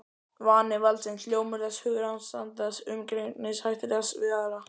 Vani valdsins, hljómur þess, hugarástand þess, umgengnishættir þess við aðra.